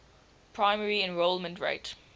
primary enrollment rate